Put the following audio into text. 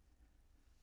DR1